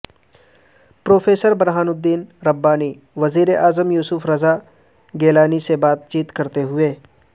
professor Burhanuddin Rabbani وزیر اعظم یوسف رضا گیلانی سے بات چیت کرتے ہوئے